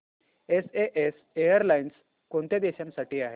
SAS airlines कोणत्या देशांसाठी आहे